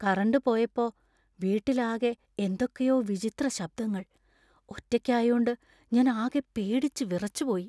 Current പോയപ്പോ, വീട്ടിലാകെ എന്തൊക്കെയോ വിചിത്ര ശബ്ദങ്ങൾ. ഒറ്റയ്ക്കായോണ്ട് ഞാന്‍ ആകെ പേടിച്ച് വിറച്ചുപോയി .